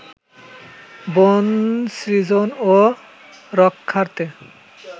বন সৃজন ও রক্ষার্থে